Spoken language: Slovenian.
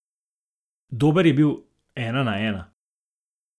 Dober je bil ena na ena.